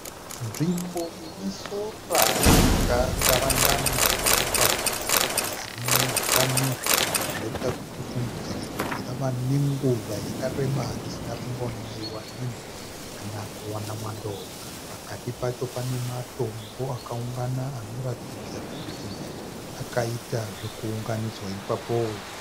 Nzvimbo ine sora rakatarangana rinoratidza kuti harina utano. Zvichibva zvaita kuti tifungidzire kuti rave nenguva yakareba risina kumbonaiwa nemvura kana kuwana mwando. Pakati pacho pane matombo akaungana anoratidza kuti akaita zvekuunganidzwa ipapo.